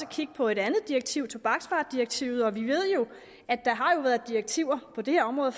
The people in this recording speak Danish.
kigge på et andet direktiv tobaksvaredirektivet og vi ved jo at der har været direktiver på det her område